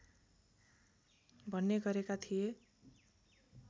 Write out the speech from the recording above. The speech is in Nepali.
भन्ने गरेका थिए